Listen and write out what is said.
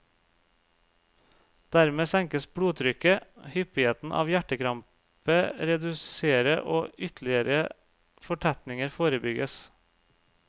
Dermed senkes blodtrykket, hyppigheten av hjertekrampe redusere og ytterligere fortetninger forebygges.